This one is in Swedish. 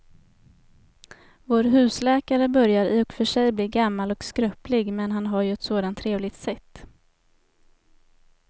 Vår husläkare börjar i och för sig bli gammal och skröplig, men han har ju ett sådant trevligt sätt!